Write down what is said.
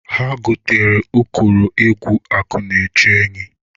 Ha gotara ụkọrọ egwu akụ na-eche enyi.